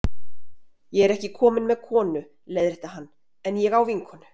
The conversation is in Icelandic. Ég er ekki kominn með konu, leiðrétti hann, en ég á vinkonu.